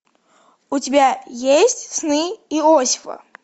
у тебя есть сны иосифа